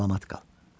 Salamət qal.